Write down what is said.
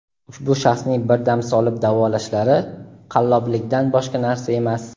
ushbu shaxsning bir dam solib davolashlari qalloblikdan boshqa narsa emas.